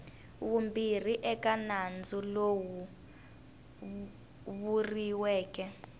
vumbirhi eka nandzu lowu vuriweke